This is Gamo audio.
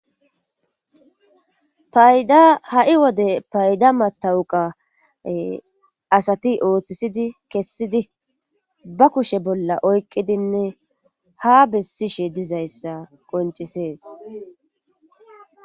payda ha7i wode payda matawuqa asati ooththisidi kessidi ba kushe bolla oykqqidinne ha bessishe dizayssa qoncisees